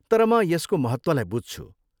तर म यसको महत्त्वलाई बुझ्छु।